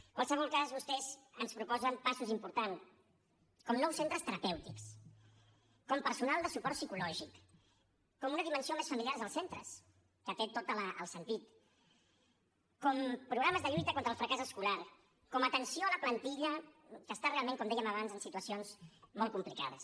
en qualsevol cas vostès ens proposen passos importants com nous centres terapèutics com personal de suport psicològic com una dimensió més familiar dels centres que té tot el sentit com programes de lluita contra el fracàs escolar com atenció a la plantilla que està realment com dèiem abans en situacions molt complicades